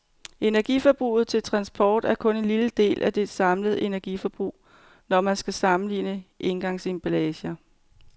Energiforbruget til transport er kun en lille del af det samlede energiforbrug, når man skal sammenligne engangsemballager.